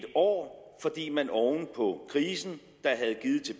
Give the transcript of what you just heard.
år fordi man oven på krisen